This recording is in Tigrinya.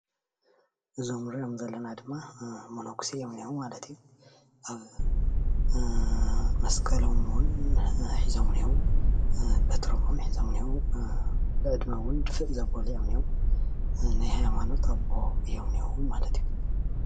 እዞም ንሪኦም ዘለና ድማ መነኩሴ እዮም እኒሀው ማለት እዩ መስቀሎም እውን ሒዞም እኒሀው በትሮም እውን ሒዞም እኒሀው ብዕድመ እውን ድፍእ ዘበሉ እዮም እኒሀው ናይ ሃይማኖት አቦ እዮም እኒሀው ማለት እዩ ።